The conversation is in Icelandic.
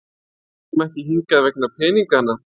Ég kom ekki hingað vegna peningana.